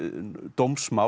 dómsmál